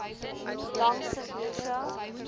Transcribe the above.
langs st lucia